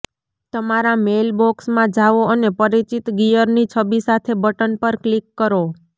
તમારા મેઇલબોક્સમાં જાઓ અને પરિચિત ગિયર ની છબી સાથે બટન પર ક્લિક કરો